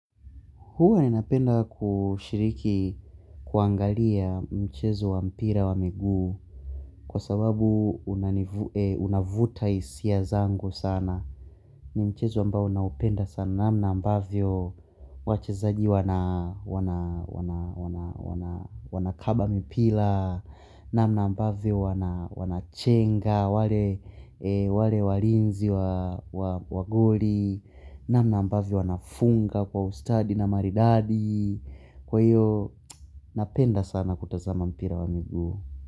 Huwa ninapenda kushiriki kuangalia mchezo wa mpira wa miguu kwa sababu unavuta hisia zango sana. Ni mchezo ambao naupenda sana namna ambavyo wachezaji wana kaba mipira, namna ambavyo wanachenga, wale walinzi wa goli, namna ambavyo wanafunga kwa ustadi na maridadi. Kwa hiyo napenda sana kutazama mpira wa miguu.